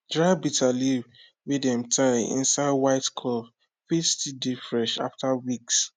dry bitterleaf wey dem tie inside white cloth fit still dey fresh after weeks